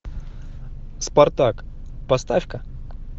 спартак поставь ка